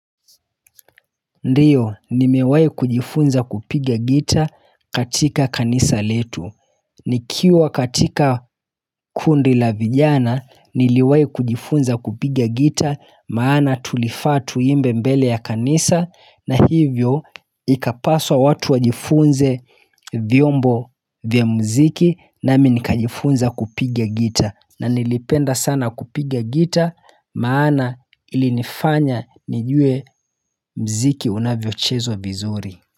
Ndiyo nimewahi kujifunza kupiga gitaa katika kanisa letu nikiwa katika kundi la vijana niliwahi kujifunza kupiga gitaa maana tulifaa tuimbe mbele ya kanisa na hivyo ikapaswa watu wajifunze vyombo vya mziki nami nikajifunza kupiga gitaa na nilipenda sana kupiga gitaa maana ilinifanya nijue mziki unavyochezwa vizuri.